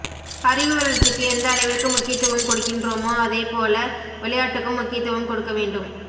அறிவு வளர்ச்சிக்கு எந்த அளவிற்கு முக்கியத்துவம் கொடுக்கின்றோமோ அதேபோல விளையாட்டுக்கும் முக்கியத்துவம் கொடுக்கவேண்டும்